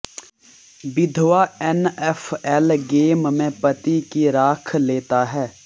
विधवा NFL game में पति की राख लेता है